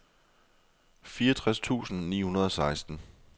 fireogtres tusind ni hundrede og seksten